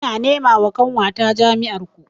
Ina nema wa ƙanwata jami'ar ku